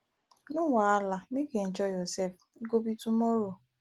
no wahala make you enjoy yourself e go be tomorrow